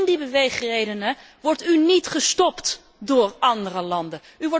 In die beweegredenen wordt u niet gestopt door andere landen.